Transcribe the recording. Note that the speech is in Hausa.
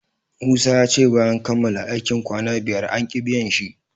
Musa yace bayan kamala aikin kwanna biyar anki biyan shi